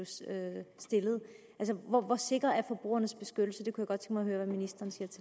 stillet altså hvor sikker er forbrugernes beskyttelse det kunne